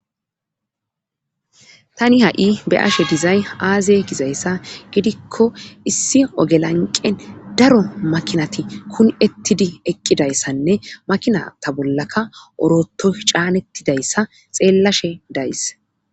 tani ha7i be7ashe dizay aaze gizayssa gidikko issi oge lanqqen daro makinati kumi ettidi eqqidayssanne makinata bollaka oroottoy caanettidayssa xeellashe days.